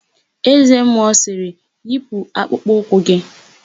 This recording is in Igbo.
Eze mmụọ sịrị, "yipu akpụkpọ ụkwụ gị"!